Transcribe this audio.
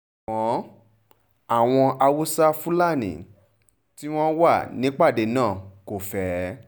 ṣùgbọ́n àwọn haúsá-fúlálí tí wọ́n wà nípàdé náà kò fẹ́